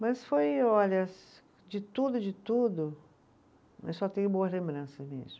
Mas foi, olha, de tudo, de tudo, eu só tenho boas lembranças mesmo.